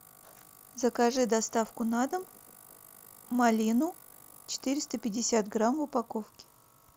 закажи доставку на дом малину четыреста пятьдесят грамм в упаковке